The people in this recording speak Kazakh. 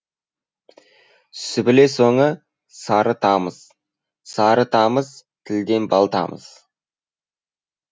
сүбіле соңы сары тамыз сары тамыз тілден бал тамыз